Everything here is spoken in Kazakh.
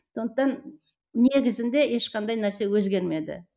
сондықтан негізінде ешқандай нәрсе өзгермеді